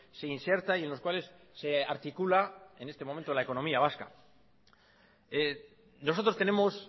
se inserta y en los cuales se articula en este momento la economía vasca nosotros tenemos